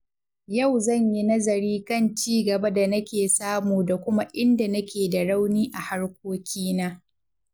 Yau zan yi nazari kan ci gaban da na ke samu da Kuma in da na ke da rauni a harkokina.